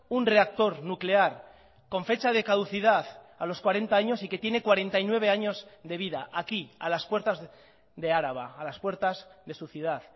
un reactor nuclear con fecha de caducidad a los cuarenta años y que tiene cuarenta y nueve años de vida aquí a las puertas de araba a las puertas de su ciudad